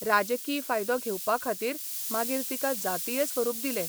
राजकी फायदो घेवपाखातीर मागीर तिका जातीय स्वरूप दिलें.